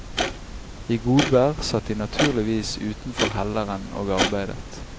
I godvær satt de naturligvis utenfor helleren og arbeidet.